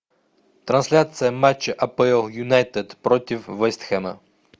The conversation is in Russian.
трансляция матча апл юнайтед против вест хэма